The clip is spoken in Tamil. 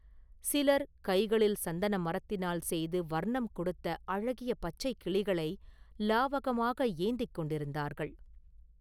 சிலர் கைகளில் சந்தன மரத்தினால் செய்து வர்ணம் கொடுத்த அழகிய பச்சைக் கிளிகளை லாவகமாக ஏந்திக் கொண்டிருந்தார்கள்.